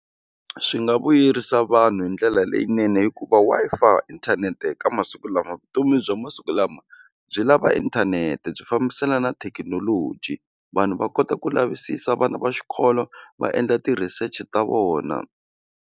Swi nga vuyerisa vanhu hi ndlela leyinene hikuva Wi-Fi inthanete ka masiku lama vutomi bya masiku lama byi lava inthanete byi fambiselana na thekinoloji vanhu va kota ku lavisisa vana va xikolo va endla ti-research ta vona.